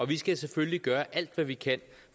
vi skal selvfølgelig gøre alt hvad vi kan